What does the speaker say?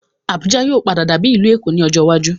Abuja yìí ó padà dàbí ìlú Èkó ni ọjọ́ iwájú